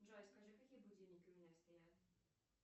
джой скажи какие будильники у меня стоят